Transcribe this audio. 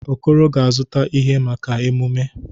Okoro ga-azụta ihe, maka emume.